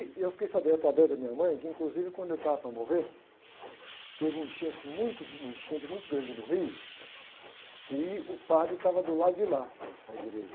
E eu fiquei sabendo através da minha mãe que, inclusive, quando ele estava para morrer, teve uma enchente muito, uma enchente muito grande no rio e o padre estava do lado de lá, na igreja.